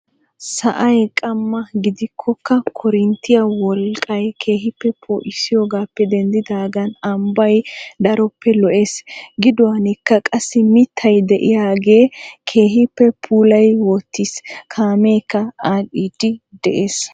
Sa'ay qamma gidikokka korinttiyaa wolqqay keehippe poo'isiyoogappe dendidaagan ambbay daroppe lo"ees. gidduwaanikka qassi mittay de'iyaage keehippe puulayi wottiis. kameekka adhiidi de'ees.